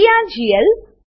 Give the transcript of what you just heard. TRGL